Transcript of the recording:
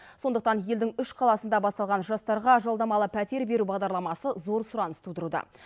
сондықтан елдің үш қаласында басталған жастарға жалдамалы пәтер беру бағдарламасы зор сұраныс тудыруда